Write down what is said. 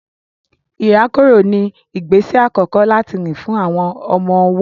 Ìrákòrò ní ìgbésẹ àkọkọ́ láti rìn fún àwọn ọmọ-ọwọ́